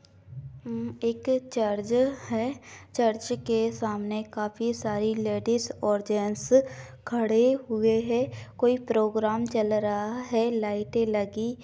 एक चर्च है चर्च के सामने काफी सारी लेडिज और जैंट्स खड़े हुए है कोई प्रोग्राम चल रहा है लाइटे लगी --